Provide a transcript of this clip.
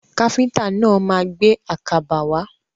Káfíntà náà ma gbé àkàbà wá.